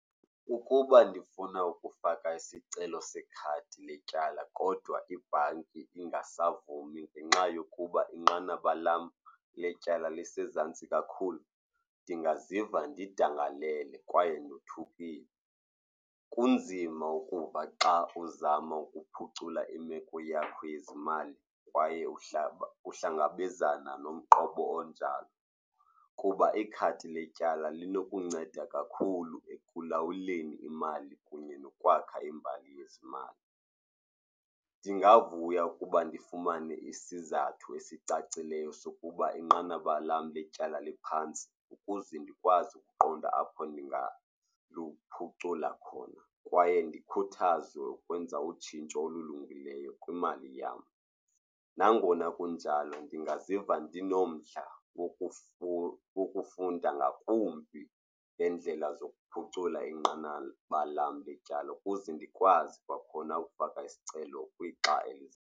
Ukuba ndifuna ukufaka isicelo sekhadi letyala kodwa ibhanki ingasavumi ngenxa yokuba inqanaba lam letyala lisezantsi kakhulu, ndingaziva ndidangalele kwaye ndothukile. Kunzima ukuba xa uzama ukuphucula imeko yakho yezimali kwaye umhlaba uhlangabezana nomqwebo onjalo kuba ikhadi letyala linokunceda kakhulu ekulawuleni imali kunye nokwakha imbali yezimali. Ndingavuya ukuba ndifumane isizathu esicacileyo sokuba inqanaba lam letyala liphantsi ukuze ndikwazi ukuqonda apho ndingaphucula khona kwaye ndikhuthaze ukwenza utshintsho olulungileyo kwimali yam. Nangona kunjalo ndingaziva ndinomdla wokufunda ngakumbi ngendlela zokuphucula inqanaba lam letyala ukuze ndikwazi kwakhona ukufaka isicelo kwixa elizayo.